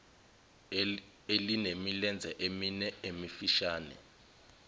elinemilenze emine emifishane